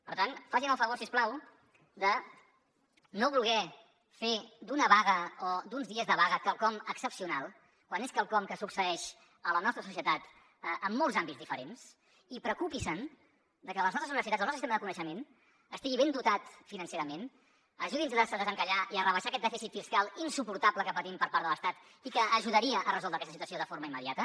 per tant facin el favor si us plau de no voler fer d’una vaga o d’uns dies de vaga quelcom excepcional quan és quelcom que succeeix a la nostra societat en molts àmbits diferents i preocupi’s de que les nostres universitats el nostre sistema de coneixement estigui ben dotat financerament ajudi’ns a desencallar i a rebaixar aquest dèficit fiscal insuportable que patim per part de l’estat i que ajudaria a resoldre aquesta situació de forma immediata